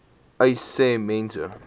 uys sê mense